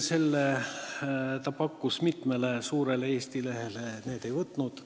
Ta pakkus seda mitmele suurele Eesti lehele, aga need ei tahtnud seda.